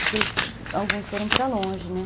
Porque alguns foram para longe, né?